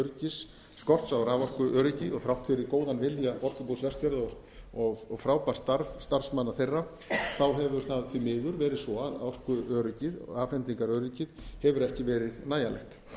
raforkuöryggi skorta á raforkuöryggi og þrátt fyrir góðan vilja orkubús vestfjarða og frábært starf starfsmanna þeirra hefur það því mér verið svo að orkuöryggið afhendingaröryggið hefur ekki verið nægjanlegt